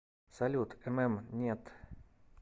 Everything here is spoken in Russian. салют мм нет